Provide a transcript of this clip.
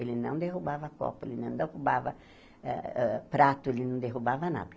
Ele não derrubava copo, ele não derrubava ah ah prato, ele não derrubava nada.